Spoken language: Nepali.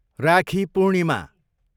राखी पूर्णिमा